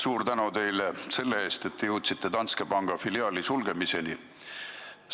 Suur tänu teile selle eest, et te jõudsite Danske panga filiaali sulgemiseni!